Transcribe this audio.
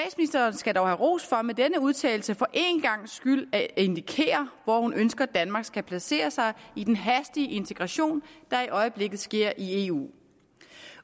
skal dog have ros for med denne udtalelse for en gangs skyld at indikere hvor hun ønsker danmark skal placere sig i den hastige integration der i øjeblikket sker i eu